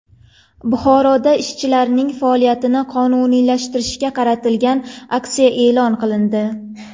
Buxoroda ishchilarning faoliyatini qonuniylashtirishga qaratilgan aksiya e’lon qilindi.